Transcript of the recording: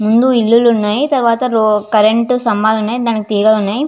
ముందు ఇండ్లులున్నాయ్ తర్వాత రో కరెంటు స్తంభాలున్నాయ్ దానికి తీగలున్నాయ్.